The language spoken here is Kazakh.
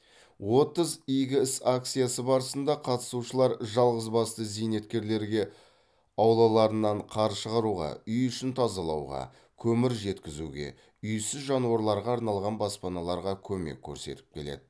отыз игі іс акциясы барысында қатысушылар жалғыз басты зейнеткерлерге аулаларынан қар шығаруға үй ішін тазалауға көмір жеткізуге үйсіз жануарларға арналған баспаналарға көмек көрсетіп келеді